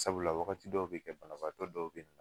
Sabula wagati dɔw be kɛ banabaatɔ dɔw be